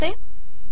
आणि इथे आहे